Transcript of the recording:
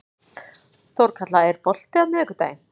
Þorkatla, er bolti á miðvikudaginn?